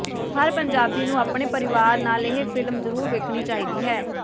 ਹਰ ਪੰਜਾਬੀ ਨੂੰ ਆਪਣੇ ਪਰਿਵਾਰ ਨਾਲ ਇਹ ਫ਼ਿਲਮ ਜ਼ਰੂਰ ਵੇਖਣੀ ਚਾਹੀਦੀ ਹੈ